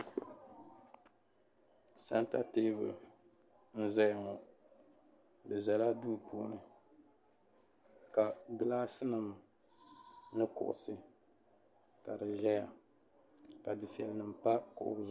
Santa teebuli n-zaya ŋɔ di zala duu puuni ka gilaadinima ni kuɣusi ja di zaya ka dufɛlinima pa kuɣusi maa zuɣu.